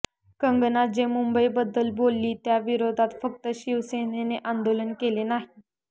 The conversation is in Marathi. कंगना जे मुंबईबद्दल बोलली त्या विरोधात फक्त शिवसेनेने आंदोलन केले नाही